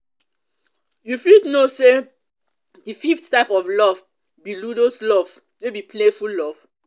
you fit know say di fifth type of love be ludus love wey be playful love.